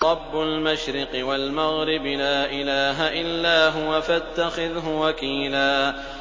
رَّبُّ الْمَشْرِقِ وَالْمَغْرِبِ لَا إِلَٰهَ إِلَّا هُوَ فَاتَّخِذْهُ وَكِيلًا